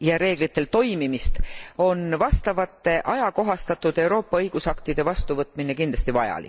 ja reeglitel toimimist, on vastavate ajakohastatud Euroopa õigusaktide vastuvõtmine kindlasti vajalik.